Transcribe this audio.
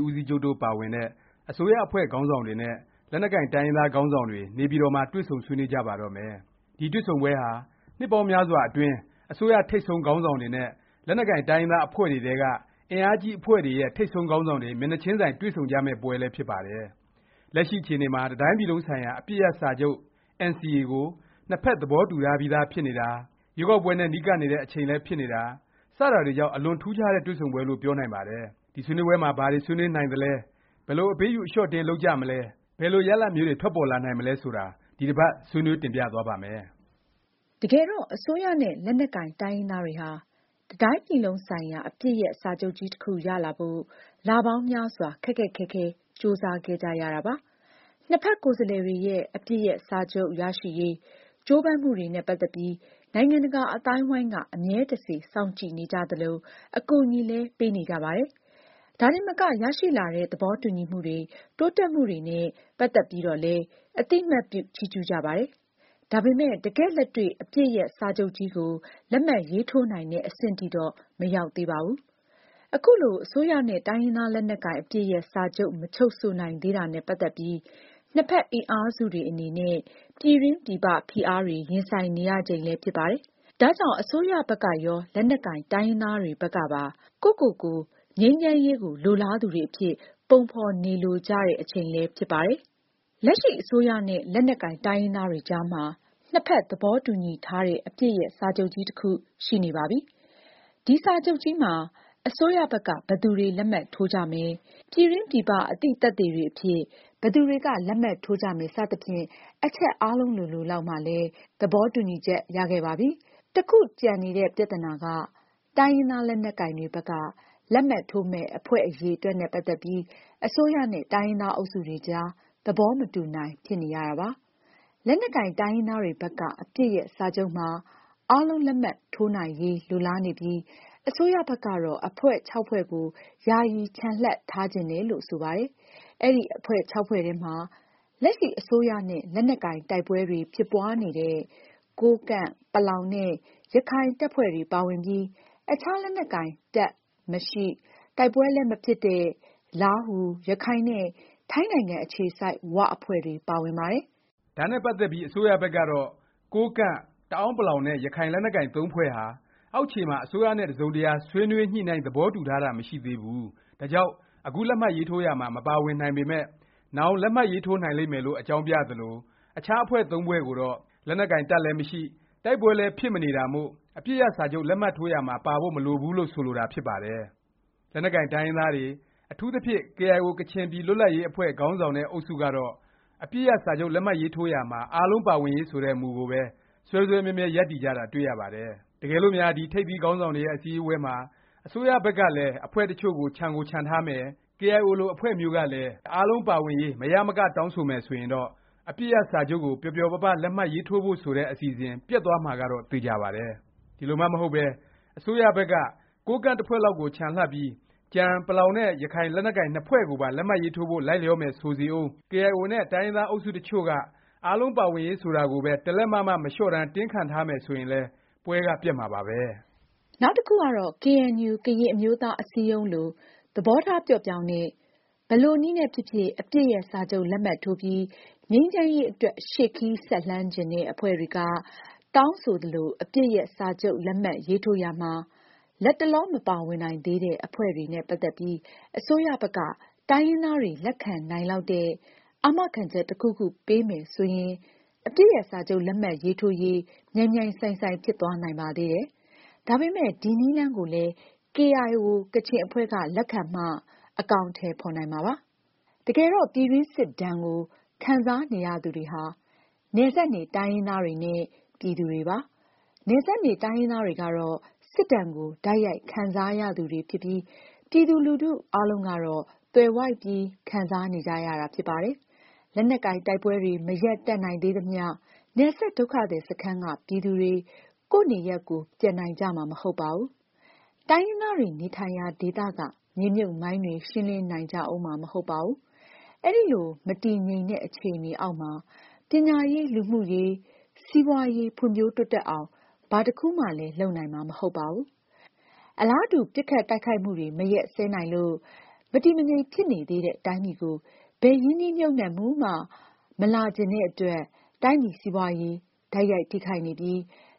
း ဦးစီးချုပ် တို့ပါဝင်တဲ့ အစိုးရအဖွဲ့ခေါင်းဆောင်တွေနဲ့ လက်နက်ကိုင် တိုင်းရင်းသားခေါင်းဆောင်တွေ နေပြည်တော်မှာ တွေ့ဆုံဆွေးနွေးကြပါတော့မယ်။ ဒီတွေ့ဆုံပွဲဟာ နှစ်ပေါင်းများစွာ အတွင်း အစိုးရ ထိပ်ဆုံး ခေါင်းဆောင်တွေနဲ့ လက်နက်ကိုင် တိုင်းရင်းသား အဖွဲ့တွေထဲက အင်အားကြီး အဖွဲ့တွေရဲ့ ထိပ်ဆုံးခေါင်းဆောင်တွေ မျက်နှာခြင်းဆိုင် တွေ့ဆုံကြမယ့် ပွဲလည်း ဖြစ်ပါတယ်။ လက်ရှိ အခြေအနေမှာ တစ်တိုင်းပြည်လုံးဆိုင်ရာ အပစ်ရပ် စာချုပ် NCA ကို နှစ်ဖက် သဘောတူထားပြီးသား ဖြစ်နေတာ၊ ရွေးကောက်ပွဲနဲ့ နီးကပ်နေတဲ့ အချိန်လည်းဖြစ်နေတာ၊ စတာတွေကြောင့် အလွန်ထူးခြားတဲ့ တွေ့ဆုံပွဲလို့ ပြောနိုင်ပါတယ်။ ဒီဆွေးနွေးပွဲမှာ ဘာတွေ ဆွေးနွေးနိုင်သလဲ၊ ဘယ်လို အပေးအယူ အလျော့အတင်း လုပ်ကြမလဲ၊ ဘယ်လို ရလာဒ်မျိုးတွေ ထွက်ပေါ်လာနိုင်မလဲ ဆိုတာ ဒီတစ်ပါတ် ဆွေးနွေးတင်ပြသွားပါ့မယ်။ တကယ်တော့ အစိုးရ နဲ့ လက်နက်ကိုင် တိုင်းရင်းသားတွေဟာ တစ်တိုင်းပြည်လုံးဆိုင်ရာ အပစ်ရပ်စာချုပ်ကြီး တစ်ခု ရဖို့ လပေါင်းများစွာ ခက်ခက်ခဲခဲကြိုးစားခဲ့ကြရတာပါ။ နှစ်ဖက် ကိုယ်စားလှယ်တွေရဲ့ အပစ်ရပ်စာချုပ် ရရှိရေး ကြိုးပမ်းမှုတွေနဲ့ ပတ်သက်ပြီး နိုင်ငံတကာ အသိုင်းအဝိုင်းက အမြဲတစေ စောင့်ကြည့်နေကြသလို၊ အကူအညီလည်း ပေးနေကြပါတယ်။ ဒါတင်မက ရရှိလာတဲ့ သဘောတူညီမှုတွေ၊ တိုးတက်မှုတွေနဲ့ ပတ်သက်ပြီးတော့လည်း အသိအမှတ်ပြု ချီးကျူးကြပါတယ်။ ဒါပေမယ့် တကယ့်လက်တွေ့ အပစ်ရပ် စာချုပ်ကြီးကို လက်မှတ်ရေးထိုးနိုင်တဲ့ အဆင့်ထိတော့ မရောက်သေးပါဘူး။ ခုလို အစိုးရနဲ့ တိုင်းရင်းသား လက်နက်ကိုင် အပစ်ရပ်စာချုပ် မချုပ်ဆိုနိုင်သေးတာနဲ့ ပတ်သက်ပြီး နှစ်ဖက် အင်အားစုတွေအနေနဲ့ ပြည်တွင်း ပြည်ပ ဖိအားတွေ ရင်ဆိုင်နေရချိန်လည်း ဖြစ်ပါတယ်။ ဒါ့ကြောင့် အစိုးရဘက်ကရော လက်နက်ကိုင်တိုင်းရင်းသားတွေ ဘက်ကပါ ကိုယ့်ကိုယ်ကိုယ် ငြိမ်းချမ်းရေးကို လိုလားသူတွေအဖြစ် ပုံဖော်နေလိုကြတဲ့ အချိန်လည်း ဖြစ်ပါတယ်။ လက်ရှိ အစိုးရနဲ့ လက်နက်ကိုင် တိုင်းရင်းသားတွေကြားမှာ နှစ်ဖက် သဘောတူညီထားတဲ့ အပစ်ရပ် စာချုပ်ကြီး တစ်ခု ရှိနေပါပြီ။ ဒီ စာချုပ်ကြီးမှာ အစိုးရဘက်က ဘယ်သူတွေ လက်မှတ်ထိုးကြမယ်၊ ပြည်တွင်း ပြည်ပ အသိသက်သေတွေအဖြစ် ဘယ်သူတွေက လက်မှတ်ထိုးကြမယ် စသဖြင့် အချက်အားလုံးလိုလိုလောက်မှာလည်း သဘောတူညီချက် ရခဲ့ပြီးကြပါပြီ။ တစ်ခုတည်းသော ကျန်တဲ့ ပြသနာက တိုင်းရင်းသား လက်နက်ကိုင်တွေ ဘက်က လက်မှတ်ထိုးမယ့် အဖွဲ့ အရည်အတွက်နဲ့ ပတ်သက်ပြီး အစိုးရနဲ့ တိုင်းရင်းသား အုပ်စုတွေကြား သဘောမတူနိုင် ဖြစ်နေရတာပါ။ လက်နက်ကိုင် တိုင်းရင်းသားတွေဘက်က အပစ်ရပ်စာချုပ်မှာ အားလုံး လက်မှတ်ရေးထိုးနိုင်ရေး လိုလားနေပြီး အစိုးရဘက်ကတော့ အဖွဲ့ ဖွဲ့ကို ယာယီချန်လှပ်ထားချင်တယ်လို့ ဆိုပါတယ်။ အဲဒီ အဖွဲ့ ဖွဲ့ထဲမှာ လက်ရှိ အစိုးရနဲ့ လက်နက်ကိုင် တိုက်ပွဲတွေ ဖြစ်ပွားနေတဲ့ ကိုးကန့်၊ ပလောင်နဲ့ ရခိုင် တပ်ဖွဲ့တွေ ပါဝင်ပြီး အခြား လက်နက်ကိုင် တပ်မရှိ၊ တိုက်ပွဲလည်း မဖြစ်တဲ့ လားဟူ၊ ရခိုင်နဲ့ ထိုင်းနိုင်ငံ အခြေစိုက် ၀ အဖွဲ့တွေ ပါဝင်ပါတယ်။ ဒါနဲ့ ပတ်သက်ပြီး အစိုးရဘက်ကတော့ ကိုးကန့်၊ ပလောင်နဲ့ ရခိုင် လက်နက်ကိုင် သုံးဖွဲ့ဟာ အောက်ခြေမှာ အစိုးရနဲ့ တစ်စုံတစ်ရာ ဆွေးနွေးညှိနှိုင်း သဘောတူထားတာ မရှိသေးဘူး၊ ဒါကြောင့် အခု လက်မှတ်ရေးထိုးရာမှာ မပါဝင်နိုင်ပေမယ့် နောင် လက်မှတ်ရေးထိုးနိုင်လိမ့်မယ်လို့ အကြောင်းပြသလို၊ အခြား အဖွဲ့သုံးဖွဲ့ကိုတော့ လက်နက်ကိုင် တပ်လည်းမရှိ၊ တိုက်ပွဲလည်း ဖြစ်မနေတာမို့ အပစ်ရပ် စာချုပ် လက်မှတ်ထိုးရာမှာ ပါဖို့ မလိုဘူးလို့ ဆိုလိုတာ ဖြစ်ပါတယ်။ လက်နက်ကိုင် တိုင်းရင်းသားတွေ အထူးသဖြင့် ကေအိုင်အို ကချင်ပြည်လွတ်လပ်ရေး အဖွဲ့ ခေါင်းဆောင်တဲ့ အုပ်စုကတော့ အပစ်ရပ် စာချုပ် လက်မှတ်ရေးထိုးရာမှာ အားလုံး ပါဝင်ရေး ဆိုတဲ့ မူကိုပဲ စွဲစွဲမြဲမြဲ ရပ်တည်ကြတာ တွေ့ရပါတယ်။ တကယ်လို့များ ဒီ ထိပ်သီးခေါင်းဆောင်တွေရဲ့ အစည်းအဝေးပွဲမှာ အစိုးရဘက်ကလည်း အဖွဲ့ တစ်ချို့ ချန်ကို ချန်ထားမယ်၊ ကေအိုင်အို လို အဖွဲ့မျိုးကလည်း အားလုံးပါဝင်ရေး မရမက တောင်းဆိုမယ် ဆိုရင်တော့ အပစ်ရပ်စာချုပ်ကို ပျော်ပျော်ပါးပါး လက်မှတ်ရေးထိုးဖို့ ဆိုတဲ့ အစီအစဉ် ပျက်သွားမှာကတော့ သေခြာပါတယ်။ ဒီလိုမှ မဟုတ်ပဲ အစိုးရဘက်က ကိုးကန့် တစ်ဖွဲ့လောက်ကို ချန်လှပ်ပြီး ကျန် ပလောင်နဲ့ ရခိုင် လက်နက်ကိုင် နှစ်ဖွဲ့ကိုပါလက်မှတ်ရေးထိုးဖို့ လိုက်လျောမယ် ဆိုစေဦး၊ ကေအိုင်အိုနဲ့ တိုင်းရင်းသား အုပ်စု တစ်ချို့က အားလုံးပါဝင်ရေး ဆိုတာကိုပဲ တလက်မ မှ မလျော့တန်း တင်းခံထားမယ် ဆိုရင်လည်း ပွဲက ပျက်မှာပါပဲ။ နောက်တစ်ခုကတော့ ကေအဲန်ယူ ကရင်အမျိုးသား အစည်းအရုံး လို သဘောထား ပျော့ပြောင်းတဲ့၊ ဘယ်လိုနည်းနဲ့ ဖြစ်ဖြစ် အပစ်ရပ် စာချုပ် လက်မှတ်ထိုးပြီး ငြိမ်းချမ်းရေး အတွက် ရှေ့ခရီးဆက်လှမ်းချင်တဲ့ အဖွဲ့တွေက တောင်းဆိုသလို အပစ်ရပ် စာချုပ် လက်မှတ်ရေးထိုးရာမှာ လတ်တလော မပါဝင်နိုင်သေးတဲ့ အဖွဲ့တွေနဲ့ ပတ်သက်ပြီး အစိုးရဘက်က တိုင်းရင်းသားတွေ လက်ခံနိုင်လောက်တဲ့ အာမခံချက် တစ်ခုခု ပေးမယ် ဆိုရင် အပစ်ရပ် စာချုပ် လက်မှတ်ရေးထိုးရေး မြိုင်မြိုင်ဆိုင်ဆိုင် ဖြစ်သွားနိုင်ပါသေးတယ်။ ဒါပေမယ့် ဒီနည်းလမ်းကိုလည်း ကေအိုင်အို ကချင်အဖွဲ့က လက်ခံမှ အကောင်အထည် ဖော်နိုင်မှာပါ။ တကယ်တော့ ပြည်တွင်းစစ်ဒါဏ်ကို ခံစားနေရသူတွေဟာ နယ်စပ်နေ တိုင်းရင်းသားတွေနဲ့ ပြည်သူတွေပါ။ နယ်စပ်နေ တိုင်းရင်းသားတွေကတော့ စစ်ဒါဏ်ကို တိုက်ရိုက် ခံစားနေရသူတွေ ဖြစ်ပြီး ပြည်သူလူထု အားလုံးကတော့ သွယ်ဝိုက်ပြီး ခံစားနေကြရတာ ဖြစ်ပါတယ်။ လက်နက်ကိုင် တိုက်ပွဲတွေ မရပ်တန့်နိုင်သေးသမျှ နယ်စပ် ဒုက္ခသည် စခန်းက ပြည်သူတွေ ကိုယ့်နေရပ် ကိုယ် ပြန်နိုင်ကြမှာ မဟုတ်ပါဘူး။ တိုင်းရင်းသားတွေ နေထိုင်ရာ ဒေသက မြေမြှုပ်မိုင်းတွေ ရှင်းလင်းနိုင်ကြဦးမှာ မဟုတ်ပါဘူး။ အဲလို မတည်ငြိမ်တဲ့ အခြေအနေအောက်မှာ ပညာရေး၊ လူမှုရေး၊ စီးပွားရေး ဖွံ့ဖြိုးတိုးတက်အောင် ဘာတစ်ခုမှလည်း လုပ်နိုင်မှာ မဟုတ်ပါဘူး။ အလားတူ ပစ်ခတ်တိုက်ခိုက်မှုတွေ မရပ်စဲနိုင်လို့ မတည်မငြိမ် ဖြစ်နေသေးတဲ့ တိုင်းပြည်ကို ဘယ်ရင်းနှီးမြှုပ်နှံမှုမှ မလာချင်တဲ့အတွက် တိုင်းပြည်စီးပွားရေး တိုက်ရိုက်ထိခိုက်နေပြီး